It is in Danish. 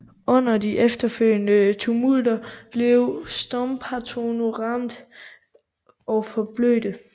Under de efterfølgende tumulter blev Stompanato ramt og forblødte